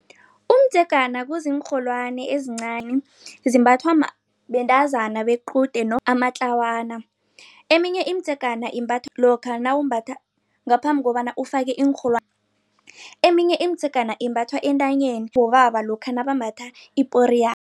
Umdzegana kuziinrholwani ezincani zimbathwa bentazana bequde amatlawana. Eminye imidzegana imbathwa lokha nawumbatha ngaphambi kobana ufake iinrholwani. Eminye imidzegana imbathwa entanyeni bobaba lokha nabambatha iporiyana.